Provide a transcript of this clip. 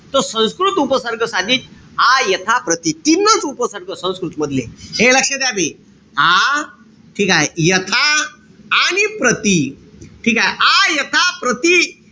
त संस्कृत उपसर्ग साधित आ, यथा, प्रति तीनच उपसर्ग संस्कृत मधले. ए लक्ष द्या बे. आ, ठीकेय? यथा, आणि प्रति. ठीकेय? आ, यथा, प्रति,